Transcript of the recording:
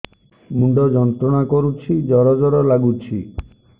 ମୁଣ୍ଡ ଯନ୍ତ୍ରଣା କରୁଛି ଜର ଜର ଲାଗୁଛି